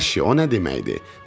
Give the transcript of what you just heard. Əşşi, o nə deməkdir?